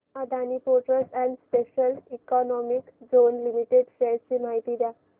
Adani ports and special economic zone limited shares ची माहिती द्या